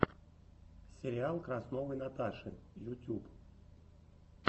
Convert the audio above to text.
сериал красновой наташи ютюб